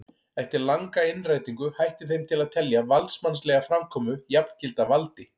Eftir langa innrætingu hætti þeim til að telja valdsmannslega framkomu jafngilda valdi.